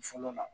Fɔlɔ la